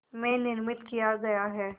में निर्मित किया गया है